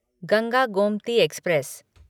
Ganga Gomti express